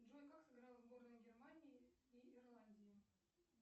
джой как сыграла сборная германии и ирландии